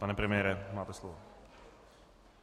Pane premiére máte slovo.